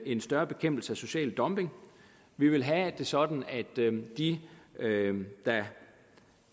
en større bekæmpelse af social dumping vi vil have det sådan at de der